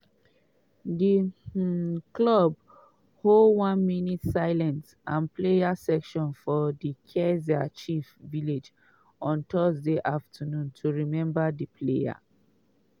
di um club hold one minute silence and prayer session for di kaizer chiefs village on thursday afternoon to remember di player.